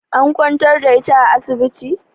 An kwantar da ita a asibiti?